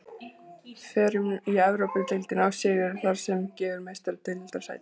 Förum í Evrópudeildina og sigur þar gefur Meistaradeildarsæti.